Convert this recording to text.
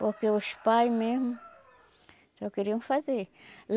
Porque os pais mesmo só queriam fazer.